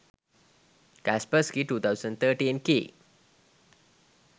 kaspersky 2013 key